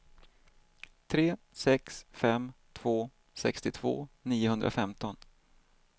tre sex fem två sextiotvå niohundrafemton